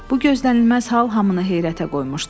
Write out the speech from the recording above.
Bu gözlənilməz hal hamını heyrətə qoymuşdu.